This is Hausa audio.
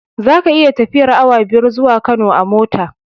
Zaka iya tafiyar awa biyar zuwa Kano a mota